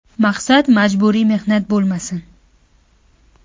Maqsad majburiy mehnat bo‘lmasin.